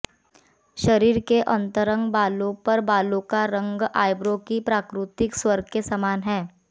शरीर के अंतरंग भागों पर बालों का रंग आइब्रो की प्राकृतिक स्वर के समान है